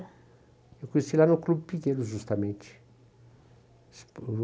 Eu a conheci lá no Clube Pinheiros, justamente.